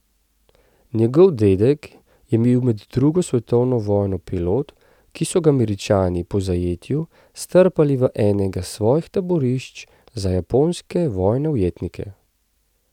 Njegov dedek je bil med drugo svetovno vojno pilot, ki so ga Američani po zajetju strpali v enega svojih taborišč za japonske vojne ujetnike.